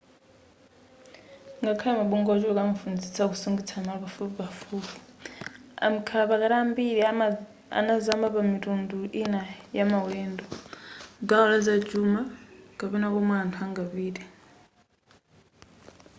ngakhale mabungwe ochuluka amafunitsitsa kusungitsa malo pafupipafupi amkhalapakati ambiri anazama pamitundu ina yamaulendo gawo la zachuma kapena komwe anthu angapite